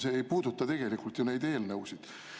See ei puuduta tegelikult ju neid eelnõusid.